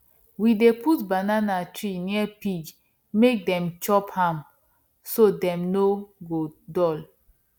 we dey put banana tree near pig make dem chop am so dem no go dull